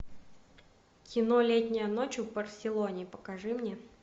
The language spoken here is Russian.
кино летняя ночь в барселоне покажи мне